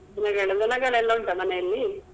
ದನಗಳು ದನಗಳೆಲ್ಲ ಉಂಟ ಮನೆ ಅಲ್ಲಿ?